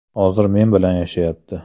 Hozir men bilan yashayapti.